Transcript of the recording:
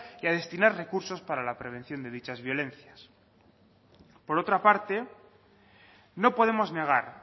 y a destinar recursos para la prevención de dichas violencias por otra parte no podemos negar